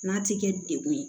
N'a ti kɛ degun ye